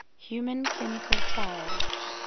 human clinical trials